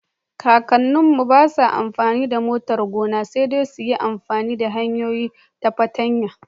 Kakanninmu ba su yi amfani da motar gona ba, sai dai sun yi amfani da hannayensu da fartanya.